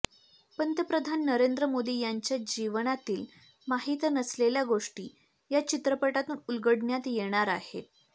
पंतप्रधान नरेंद्र मोदी यांच्या जीवनातील माहित नसलेल्या गोष्टी या चित्रपटातून उलगडण्यात येणार आहे